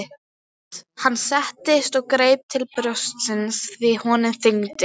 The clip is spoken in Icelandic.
Hann settist og greip til brjóstsins því honum þyngdi.